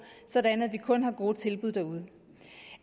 sådan at vi kun har gode tilbud derude